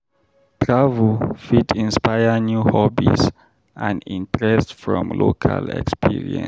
Travel fit inspire new hobbies and interests from local experience.